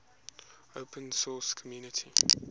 open source community